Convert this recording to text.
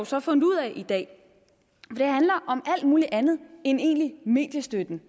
så fundet ud af i dag det handler om alt muligt andet end egentlig mediestøtte